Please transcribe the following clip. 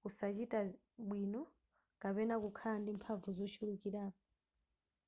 kusachita bwino kapena kukhala ndi mphamvu zochulukirapo